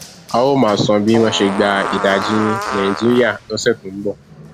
a óò máa sọ bí wọn ṣe gba ìdajì nàìjíríà lọsẹ tó ń bọ